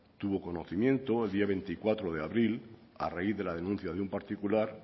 tuvo conocimiento el día veinticuatro de abril a raíz de la denuncia de un particular